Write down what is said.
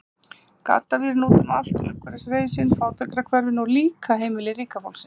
Gaddavírinn er úti um allt, umhverfis hreysin, fátækrahverfin, og líka heimili ríka fólksins.